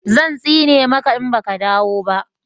zan tsine maka in baka dawo ba